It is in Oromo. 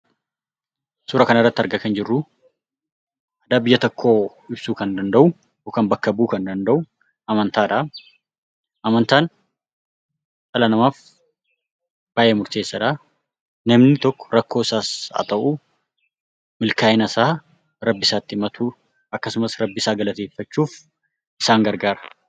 Suuraa kanarratti argaa kan jirru biyya tokko bulchuu kan danda’u yookaan bakka bu’uu kan danda’u amantaadha. Amantaan dhala namaaf baay'ee murteessaa dha. Namni tokko rakkoo isaas ta'u, milkaa’ina isaa rabbi isaatti himatus akkasumas galateeffachuuf isaan gargaara.